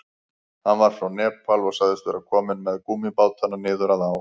Hann var frá Nepal og sagðist vera kominn með gúmmíbátana niður að á.